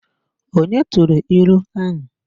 Onye turu ilu ahu?